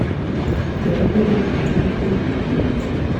Kendo bedo gi ting’ e kind joot.